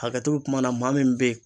Hakɛto be kuma na maa min be yen